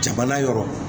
Jamana yɔrɔ